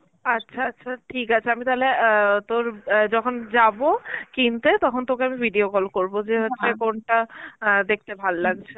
আচ্ছা আচ্ছা ঠিক আছে আমি তাহলে অ্যাঁ তোর অ্যাঁ যখন যাব কিনতে তখন তোকে আমি video call করব যে হচ্ছে কোনটা অ্যাঁ দেখতে ভালো লাগছে